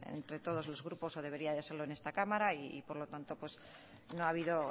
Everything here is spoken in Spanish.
entre todos los grupos o debería de serlo en esta cámara por lo tanto no ha habido